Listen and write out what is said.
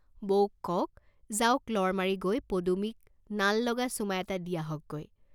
বৌক কওক, যাওক লৰ মাৰি গৈ পদুমীক নাল লগা চুমা এটা দি আহক গৈ।